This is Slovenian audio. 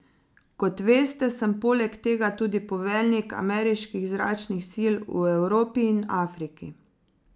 Kot veste, sem poleg tega tudi poveljnik ameriških zračnih sil v Evropi in Afriki.